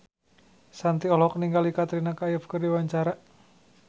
Shanti olohok ningali Katrina Kaif keur diwawancara